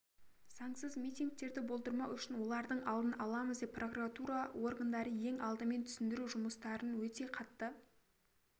заңсыз митингтерді болдырмау үшін олардың алдын аламыз деп прокуратура органдары ең алдымен түсіндіру жұмыстарын өте қатты